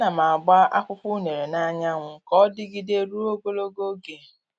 A na m agba akwụkwọ unere n'anyanwu ka ọ dịgide ruo ogologo oge.